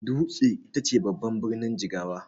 Dutse ita ce babban birnin Jigawa.